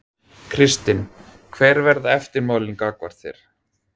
Kristinn: Hver verða eftirmálin gagnvart þér?